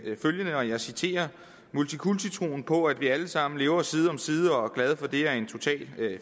følgende og jeg citerer multikulti troen på at vi allesammen lever side om side og er glade for det er en total